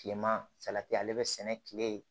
Kilema salati ale be sɛnɛ kile